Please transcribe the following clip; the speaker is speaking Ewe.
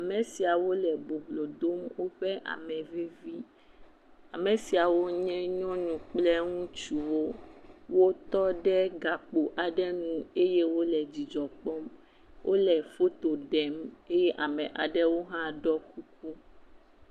Ame siawo le boblo dom woƒe ame vevie. Ame siawo nye nyɔnu kple ŋutsuwo. Wo tɔ ɖe gakpo aɖe ŋu eye wole dzidzɔ kpɔm eye wole foto ɖem eye amewo hã ɖɔ kuku.